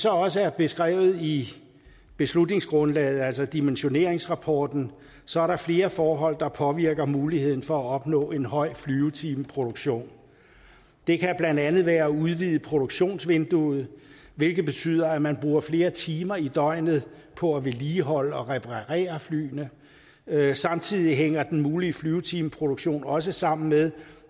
også er beskrevet i beslutningsgrundlaget altså dimensioneringsrapporten så er der flere forhold der påvirker muligheden for at opnå en høj flyvetimeproduktion det kan blandt andet være at udvide produktionsvinduet hvilket betyder at man bruger flere timer i døgnet på at vedligeholde og reparere flyene samtidig hænger den mulige flyvetimeproduktion også sammen med